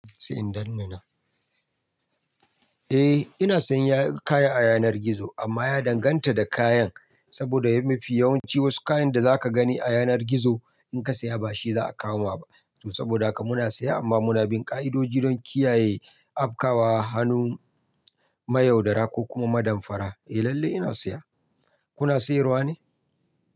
Eh ina sayan kaya a yanar gizo amma ya danganta da kayan. Saboda mafi yawanci wasu kayan da zaka gani a yanar gizo idan ka saya ba shi za a kawo maka ba. To saboda haka muna siya amma muna bin ka'idoji don kiyaye afkawa, hannun, mayaudara ko kuma madanfara. Eh lallai ina siya. Kuna siyarwa ne?